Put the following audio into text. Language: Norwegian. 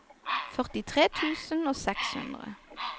førtitre tusen og seks hundre